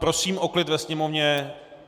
Prosím o klid ve sněmovně.